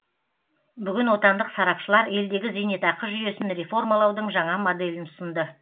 бүгін отандық сарапшылар елдегі зейнетақы жүйесін реформалаудың жаңа моделін ұсынды